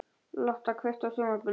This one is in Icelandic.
Lotta, kveiktu á sjónvarpinu.